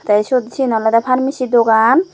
te siot seyani olody pharmecy dogan.